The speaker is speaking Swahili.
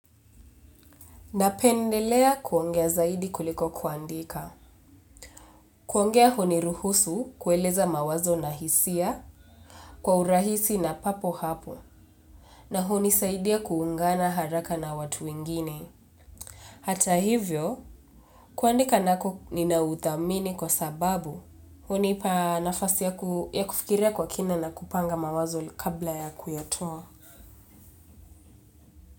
Napendelea kuongea zaidi kuliko kuandika. Kuongea huniruhusu kueleza mawazo na hisia kwa urahisi na papo hapo na hunisaidia kuungana haraka na watu wengine. Hata hivyo kuandika nako ninauthamini kwa sababu hunipa nafasi ya kufikiria kwa kina na kupanga mawazo kabla ya kuyatoa.